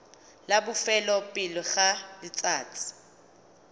la bofelo pele ga letsatsi